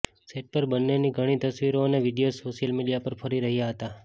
set પર બન્નેની ઘણી તસવીરો અને વિડિયોઝ સોશિયલ મીડિયા પર ફરી રહ્યા હતા